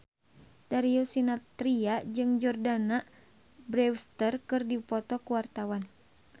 Darius Sinathrya jeung Jordana Brewster keur dipoto ku wartawan